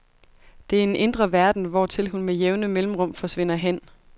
Det er en indre verden, hvortil hun med jævne mellemrum forsvinder hen.